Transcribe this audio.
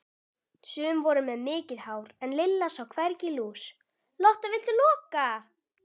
Sum voru með mikið hár en Lilla sá hvergi lús.